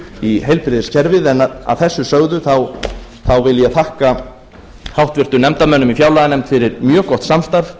í heilbrigðiskerfið en að þessu sögðu þá vil ég þakka háttvirtum nefndarmönnum í fjárlaganefndinni fyrir mjög gott samstarf